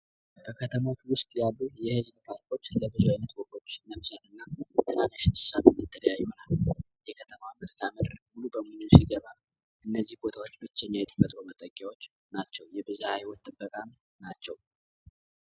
በከተማቱ ውስጥ ያሉ የህዝብ ፓስፖርች ለብዙ ዓይነት ወፈኩች ነፍስት እና ትራንሽ ንስሳት መተሪያ ይሆናል የከተማ ምርካምር ሙሉ በሚኖሽ ገባ እነዚህ ቦታዎች ብቸኛ የቲፈጥሮ መጠኪያዎች ናቸው የብዛያ ሀይዎት ተበቃም ናቸው።